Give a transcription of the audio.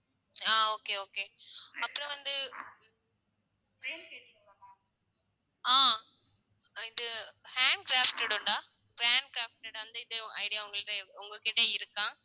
ஆஹ் okay okay அப்புறம் வந்து ஆஹ் இது hand crafted உண்டா hand crafted அந்த இது idea உங்கள்ட்ட உங்க கிட்ட இருக்கா